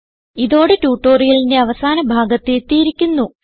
ഇതോടെ ട്യൂട്ടോറിയലിന്റെ അവസാന ഭാഗത്ത് എത്തിയിരിക്കുന്നു